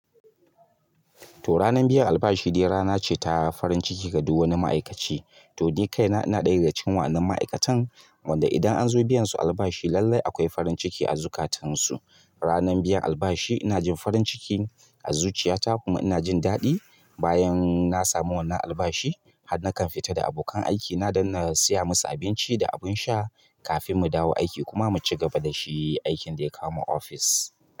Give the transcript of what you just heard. To ranar biyan albashi dai rana ce ta farin ciki ga duk wani ma'aikaci. To ni kaina, ina ɗaya daga cikin wa'innan ma'aikatan wanda idan anzo biyan su albashi lallai akwai farin ciki a zukatan su. Ranar biyan albashi ina jin farin ciki a zuciyata kuma ina jin daɗi. Bayan na samu wannan albashi har nakan fita da abokan aikina don na siya musu abinci da abin sha kafin mu dawo aiki kuma mucigaba dashi aikin ɗaya kawo mu ofis.